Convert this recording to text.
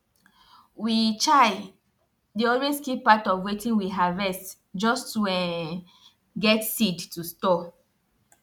we um dey always keep part of wetin we harvest just to um get seed to store